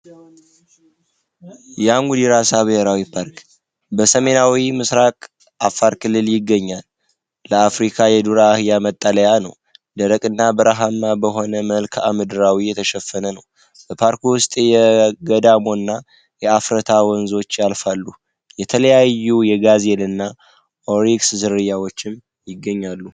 የሙያራሳ ራሳ ብሔራዊ ፓርክ በሰሜን ምስራቅ በአፋር ክልል ይገኛል ለአፍሪካ የዱር አህያ መጠለያ ነው ደረቅ እና በረሃማ በሆነ መልክዓ ምድር የተሸፈነ በፓርኩ ውስጥ የገዳሙ እና የአፍራታ ወንዞች ያልፋሉ በተለያዩ የጋዜና ኦሪክስ ዝርያዎች ይገኛል።